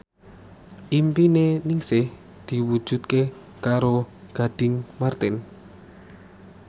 impine Ningsih diwujudke karo Gading Marten